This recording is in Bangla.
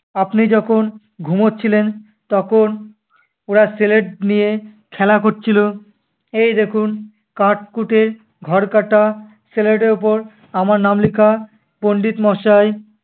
আপনি যখন ঘুমোচ্ছিলেন তখন ওরা slate নিয়ে খেলা কচ্ছিলো। এই দেখুন কাঠ-কুঠের ঘর কাটা slate এর ওপর আমার নাম লিখা। পণ্ডিত মশাই